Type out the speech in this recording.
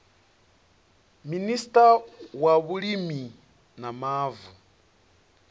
minista wa vhulimi na mavu